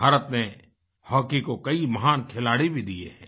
भारत ने हॉकी को कई महान खिलाड़ी भी दिए हैं